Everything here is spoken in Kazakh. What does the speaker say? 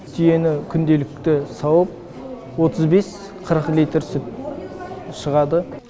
түйені күнделікті сауып отыз бес қырық литр сүт шығады